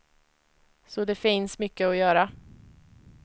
Så det finns mycket att göra.